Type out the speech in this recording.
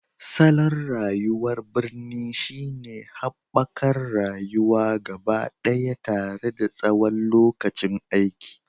Salon rayuwar birni shine haɓakar rayuwa gabaɗaya tare da tsawon lokacin aiki,